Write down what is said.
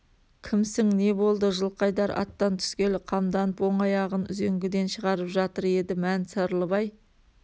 кімсің не болды жылқайдар аттан түскелі қамданып оң аяғын үзеңгіден шығарып жатыр еді мән сырлыбай